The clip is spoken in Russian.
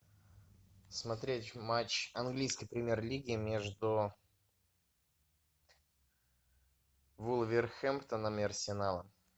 смотреть матч английской премьер лиги между вулверхэмптоном и арсеналом